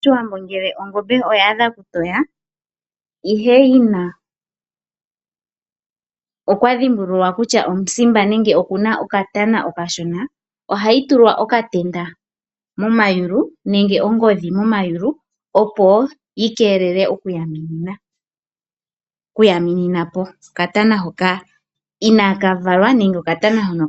Pashiwambo ngele ongombe oyaadha okutoya ihe yina okwa dhimbululwa kutya omusimba nenge okuna okatana okashona, ohayi tulwa okatenda momayulu nenge ongodhi momayulu opo yi keelele oku yaminina, oku yaminina po okatana hoka inaa kavalwa nenge